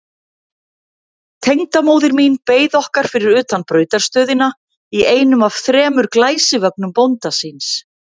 Tengdamóðir mín beið okkar fyrir utan brautarstöðina í einum af þremur glæsivögnum bónda síns.